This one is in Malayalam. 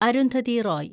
അരുന്ധതി റോയ്